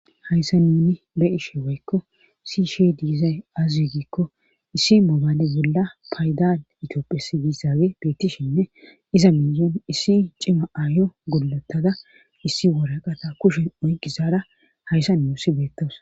Hayssa nuni be'ishe woykko sii'ishshe diizay aze giikko issi mobaale bolla paydan itoophphiya diissaabille beettishinne iza miyen issi cima aayo gollottada issi woraqata kushen oyqidayssara hayssa nuussi beettossona